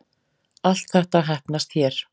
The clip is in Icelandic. Allt þetta heppnast hér